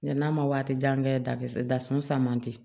n'a ma waati jan kɛ dasun san man di